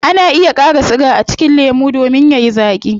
Ana iya kara siga a cikin lemu domin yayi zaaki